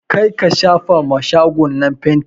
Kar ka shafa ma shago na fanti!